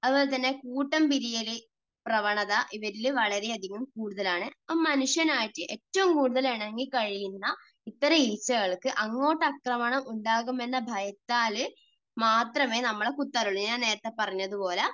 അതുപോലെതന്നെ കൂട്ടം പിരിയൽ പ്രവണത ഇവരിൽ വളരെയധികം കൂടുതലാണ്. മനുഷ്യനും ആയിട്ട് ഏറ്റവും കൂടുതൽ ഇണങ്ങി കഴിയുന്ന ഇത്തരം ഈച്ചകൾക്ക് അങ്ങോട്ട് ആക്രമണം ഉണ്ടാകുമെന്ന് ഭയത്താൽ മാത്രമേ നമ്മളെ കുത്താറുള്ളൂ. ഞാൻ നേരത്തെ പറഞ്ഞത് പോലെ